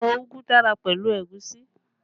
Ẹ̀fọ́ úgú dára pẹ̀lú ẹ̀gúsí